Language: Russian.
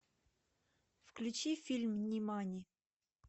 включи фильм нимани